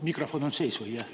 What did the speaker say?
Mikrofon on sees või?